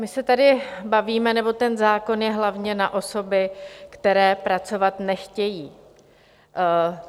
My se tady bavíme, nebo ten zákon je hlavně na osoby, které pracovat nechtějí.